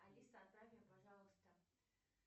алиса отправь мне пожалуйста